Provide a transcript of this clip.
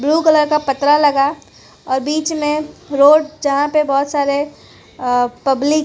blue colour का पतरा लगा और बीच में रोड जहां पे बहोत सारे अ पब्लिक --